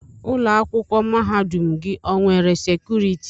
Ụlọ akwụkwọ mahadum gị o nwere sekuriti?